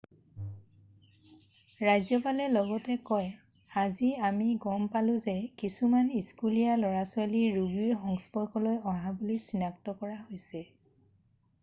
"ৰাজ্যপালে লগতে কয় "আজি আমি গম পালোঁ যে কিছুমান স্কুলীয়া ল'ৰা ছোৱালী ৰোগীৰ সংস্পৰ্শলৈ অহা বুলি চিনাক্ত কৰা হৈছে।""